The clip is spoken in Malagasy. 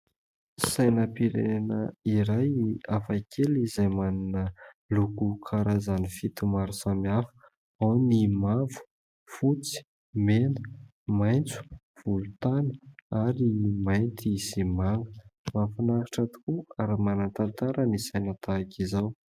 Sainam-pirenena iray hafakely izay manana loko karazany fito maro samihafa : ao ny mavo, fotsy, mena, maitso, volontany ary ny mainty sy manga. Mahafinaritra tokoa ary manan-tantara ny saina tahaka izao.